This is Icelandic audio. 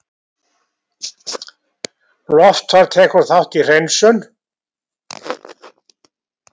Loftfar tekur þátt í hreinsun